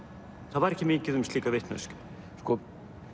það var ekki mikið um slíka vitneskju sko